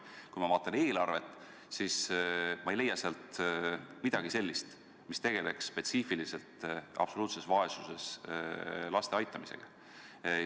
Kui ma vaatan eelarvet, siis ma ei leia sealt midagi, mis oleks suunatud spetsiifiliselt absoluutses vaesuses elavate laste aitamisele.